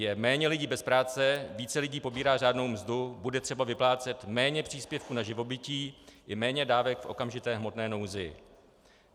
Je méně lidí bez práce, více lidí pobírá řádnou mzdu, bude třeba vyplácet méně příspěvků na živobytí i méně dávek v okamžité hmotné nouzi.